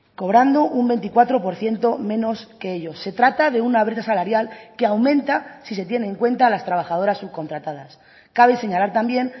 cobrando un veinticuatro por ciento menos que ellos se trata de una brecha salarial que aumenta si se tiene en cuenta las trabajadoras subcontratadas cabe señalar también